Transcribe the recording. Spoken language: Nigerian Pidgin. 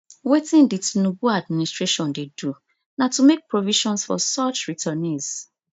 wetin di tinubu administration dey do na to make provisions for such returnees